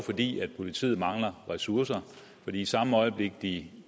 fordi politiet mangler ressourcer for i samme øjeblik de